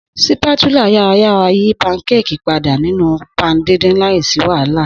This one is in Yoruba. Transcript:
Sípátúlá yarayara yi pankéèkì pada ninu pan didin laisi wahala.